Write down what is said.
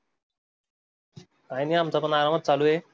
काय नाही, आमचा पण आराम चालू आहे.